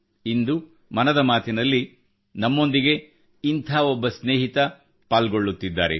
ಇಂದು ಮನದ ಮಾತಿನಲ್ಲಿ ಇಂದು ನಮ್ಮೊಂದಿಗೆ ಇಂಥ ಒಬ್ಬ ಸ್ನೇಹಿತರು ಪಾಲ್ಗೊಳ್ಳುತ್ತಿದ್ದಾರೆ